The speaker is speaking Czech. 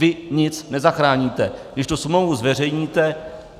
Vy nic nezachráníte, když tu smlouvu zveřejníte.